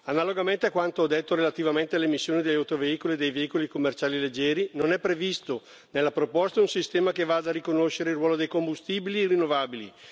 Analogamente a quanto ho detto relativamente alle emissioni degli autoveicoli e dei veicoli commerciali leggeri, non è previsto nella proposta un sistema che vada a riconoscere il ruolo dei combustibili rinnovabili.